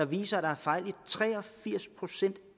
viser at der var fejl i tre og firs procent